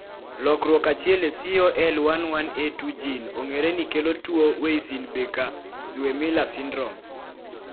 lokruok achiel e COL11A2 gene ong'ereni kelo tuwo Weissenbacher-Zweymller syndrome